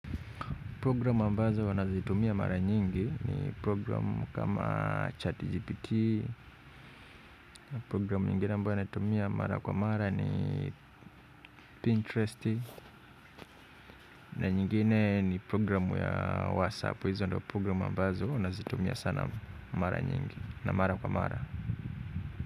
Program ambazo nazitumia mara nyingi ni programu kama chat GPT, program nyingine ambayo naitumia mara kwa mara ni Pinterest, na nyingine ni program ya WhatsApp. Hizo ndo program ambazo nazitumia sana mara nyingi na mara kwa mara.